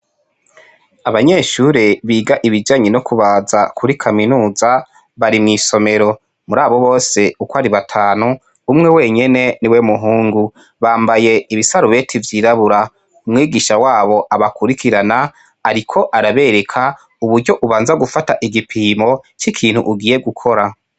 Abanyeshure biga ibijanye no kubaza Kuri kaminuza ,bari mwisomero muri abo bose ko Ari batanu ,umwe wenyene niwe muhungu. Bambaye ibisarubeti vyirabura umwigisha wabo abakurikirana ariko arabereka uburyo ubanza gufata igipimo cikintu ugiye gukora.